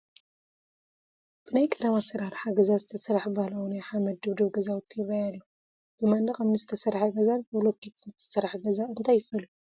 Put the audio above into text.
ብናይ ቀደም ኣሰራርሓ ገዛ ዝተሰርሐ ባህላዊ ናይ ሓመድ ድብድብ ገዛውቲ ይራኣይ ኣሎ፡፡ ብመንድቕ እምኒ ዝተሰርሐ ገዛን ብብሎኬት ዝተሰርሐ ገዛ እንታይ ይፈልዮ?